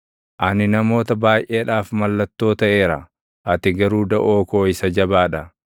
Ani namoota baayʼeedhaaf mallattoo taʼeera; ati garuu daʼoo koo isa jabaa dha.